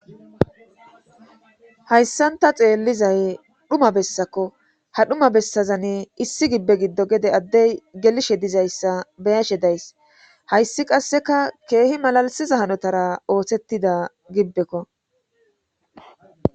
hayssan ta xeellizay dhuma bessako ha dhuma bessazan issi gibbe giddo gede addey gelishe dizayssa beyashe days hayssi qasseka keehi malalisiza hanotara oohsettida gibbekko